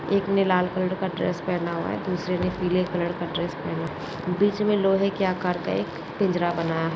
एक ने लाल कलर का ड्रेस पहेना हुआ है दूसरे ने पीले कलर का ड्रेस पहेना हुआ है बीच मे लोहे के आकार का एक पिंजरा बनाया है।